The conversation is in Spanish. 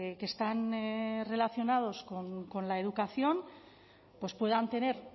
que están relacionados con la educación pues puedan tener